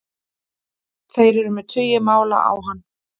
Þeir eru með tugi mála á hann